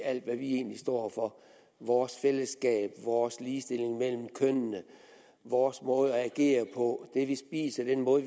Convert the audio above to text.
alt hvad vi egentlig står for vores fællesskab vores ligestilling mellem kønnene vores måde at agere på det vi spiser den måde